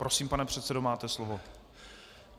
Prosím, pane předsedo, máte slovo.